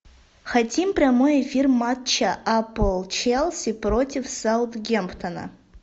хотим прямой эфир матча апл челси против саутгемптона